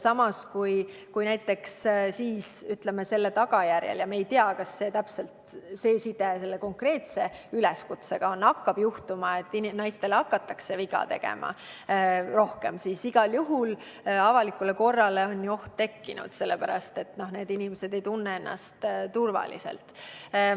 Samas, kui näiteks selle tagajärjel – ja me ei tea, kas side selle konkreetse üleskutsega on olemas – hakatakse naistele rohkem viga tegema, siis on igal juhul avalikule korrale oht tekkinud, sellepärast et need inimesed ei tunne ennast enam turvaliselt.